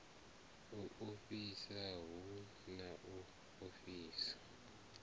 u ofhisa hu a ofhisa